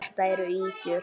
Þetta eru ýkjur!